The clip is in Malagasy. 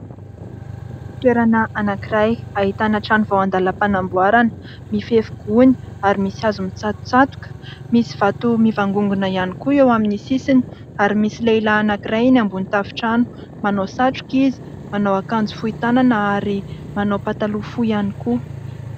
Toerana anankiray ahitana trano vao an-dalam-panamboarana, mifefy gony ary misy hazo mitsatotsatoka. Misy vato mivangongona ihany koa eo amin'ny sisiny ary misy lehilahy anankiray eny ambony tafontrano. Manao satroka izy, manao akanjo fohy tanana ary manao pataloha fohy ihany koa.